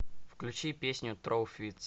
включи песню троу фитс